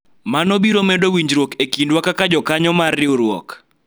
mano biro medo winjruok e kindwa kaka jokanyo mar riwruok